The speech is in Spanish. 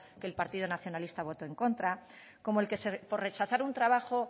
que el partido nacionalista votó en contra como el que por rechazar un trabajo